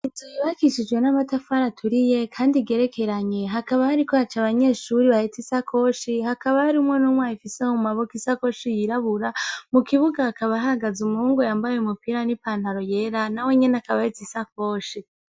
Izo bibakishijwe n'amatafara aturiye, kandi igerekeranye hakaba hari ko acu abanyeshuri baheta isa koshi hakaba aari umwo n'mwa ifiseo mu maboka isa koshi yirabura mu kibuga hakaba ahagaza umuhungu yambaye umupira n'ipantaro yera na we nyene akabaheza isa koshi.